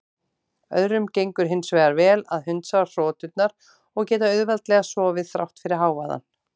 Öðrum gengur hins vegar vel að hundsa hroturnar og geta auðveldlega sofið þrátt fyrir hávaðann.